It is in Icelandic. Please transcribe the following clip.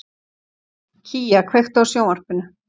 Kía, kveiktu á sjónvarpinu.